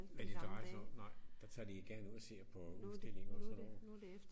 At det drejer sig om nej der tager de igen ud og ser på udstillinger og sådan noget